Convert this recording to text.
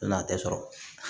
N'a tɛ sɔrɔ